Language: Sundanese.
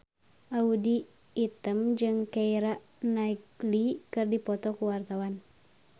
Audy Item jeung Keira Knightley keur dipoto ku wartawan